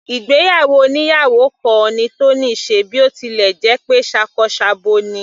Ìgbéyàwó oníyàwò kan ni Tony ṣe bí ó tilẹ̀ jẹ́ pé ṣakọ s'abo ni.